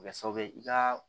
Kɛ sababu ye i ka